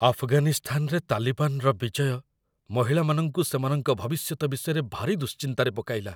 ଆଫଗାନିସ୍ତାନରେ ତାଲିବାନର ବିଜୟ ମହିଳାମାନଙ୍କୁ ସେମାନଙ୍କ ଭବିଷ୍ୟତ ବିଷୟରେ ଭାରି ଦୁଶ୍ଚିନ୍ତାରେ ପକାଇଲା।